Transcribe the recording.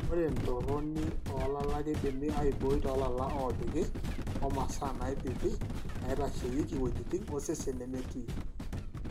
Ore entoroni oolala keidimi aibooi toolala oopiki o masaa naipiki naitasheiki iwuejitin osesen nemetii.